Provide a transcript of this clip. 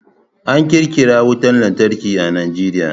An ƙirƙira wutan lantarki a Najeriya.